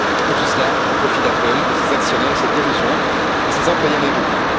Et tout cela au profit d'Apple, de ses actionnaires, de ses dirigeants et de ses employés américains.